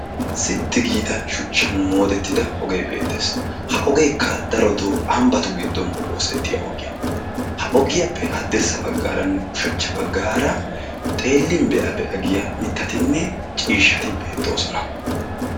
Sitti giida shuchchan moodettida ogee beettees. Ha ogeekka darotoo ambbattu giddon oosettiya ogiya. ha ogiyaappe haddirssa baggaaranne ushachcha baggaara xeellin be7a be7a giya mittatinne ciishshati beettoosona.